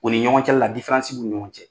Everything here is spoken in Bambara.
O ni ɲɔgɔn cɛla la difeansi b'u ni ɲɔgɔn cɛ